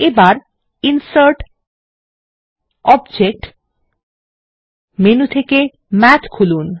এবার insert object menu থেকে Math খুলুন